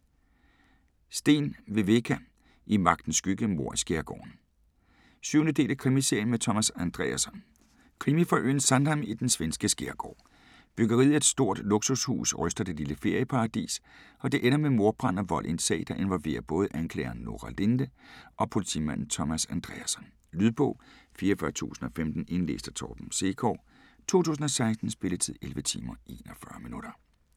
Sten, Viveca: I magtens skygge: mord i skærgården 7. del af Krimiserien med Thomas Andreasson. Krimi fra øen Sandhamn i den svenske skærgård. Byggeriet af et stort luksushus ryster det lille ferieparadis, og det ender med mordbrand og vold i en sag, der involverer både anklageren Nora Linde og politimanden Thomas Andreasson. Lydbog 44015 Indlæst af Torben Sekov, 2016. Spilletid: 11 timer, 41 minutter.